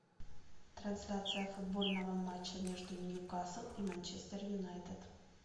трансляция футбольного матча между ньюкасл и манчестер юнайтед